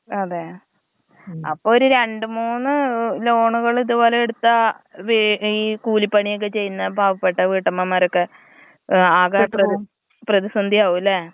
അതെ, അപ്പൊ ഒരു രണ്ട് മൂന്ന് ലോണുകൾ ഇത് പോലെ എടുത്താ വെ ഏ കൂലിപ്പണിയൊക്കെ ചെയ്യുന്ന പാവപെട്ട വീട്ടമ്മമ്മാരൊക്കെ ഏ ആകെ. പ്ര പ്രതിസന്ധിയാവും ല്ലെ.